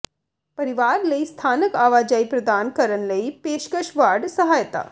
ਪਰਿਵਾਰ ਲਈ ਸਥਾਨਕ ਆਵਾਜਾਈ ਪ੍ਰਦਾਨ ਕਰਨ ਲਈ ਪੇਸ਼ਕਸ਼ ਵਾਰਡ ਸਹਾਇਤਾ